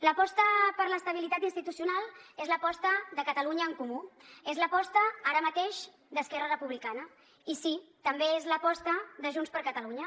l’aposta per l’estabilitat institucional és l’aposta de catalunya en comú és l’aposta ara mateix d’esquerra republicana i sí també és l’aposta de junts per catalunya